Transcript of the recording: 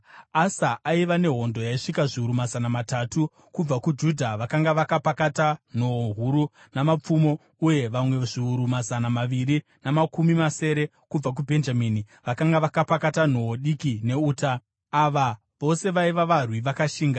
Asa aiva nehondo yaisvika zviuru mazana matatu kubva kuJudha, vakanga vakapakata nhoo huru namapfumo, uye vamwe zviuru mazana maviri namakumi masere kubva kuBhenjamini, vakanga vakapakata nhoo diki neuta. Ava vose vaiva varwi vakashinga.